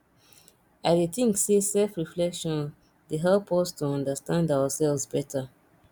i dey think say selfreflection dey help us to understand ourselves beta